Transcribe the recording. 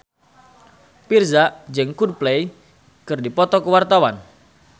Virzha jeung Coldplay keur dipoto ku wartawan